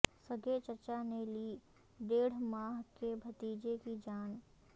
سگے چچا نے لی ڈیڑھ ماہ کے بھتیجے کی جان